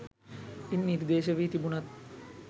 ඉන් නිර්දේශ වී තිබුණත්